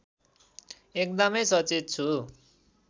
एकदमै सचेत छु